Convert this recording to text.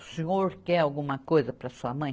O senhor quer alguma coisa para a sua mãe?